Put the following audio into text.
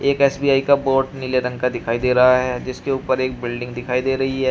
SBI का board नीले रंग का दिखाई दे रहा है जिसके ऊपर एक बिल्डिंग दिखाई दे रही है।